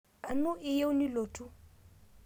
Anu iyieu nilotu?